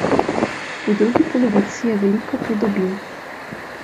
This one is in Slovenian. V drugi polovici je veliko pridobil.